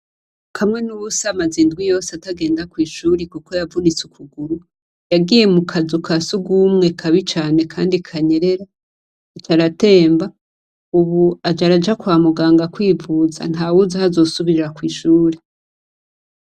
Kamwenubusa amaze indwi yose atagenda kw' ishuri kuko yavunitse ukuguru, yagiye mu kazu ka surwumwe Kabi cane kandi kanyerera, aca aratemba, ubu aja araja kwa muganga kwivuza, ntawuzi aho azosubirira kw' ishuri.